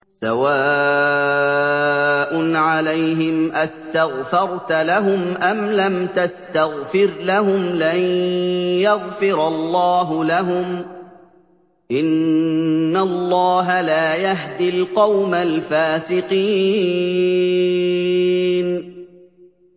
سَوَاءٌ عَلَيْهِمْ أَسْتَغْفَرْتَ لَهُمْ أَمْ لَمْ تَسْتَغْفِرْ لَهُمْ لَن يَغْفِرَ اللَّهُ لَهُمْ ۚ إِنَّ اللَّهَ لَا يَهْدِي الْقَوْمَ الْفَاسِقِينَ